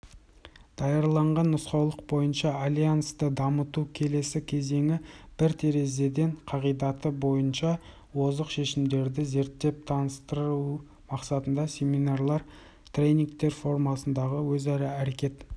даярлаған нұсқаулық бойынша альянсты дамытудың келесі кезеңі бір терезеден қағидаты бойынша озық шешімдерді зерттеп таныстыру мақсатында семинарлар тренингтер формасындағы өзара әрекет